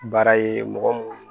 Baara ye mɔgɔ mun